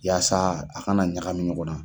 Yaasa a ka na ɲagamin ɲɔgɔn na